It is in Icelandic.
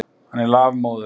Hann er lafmóður.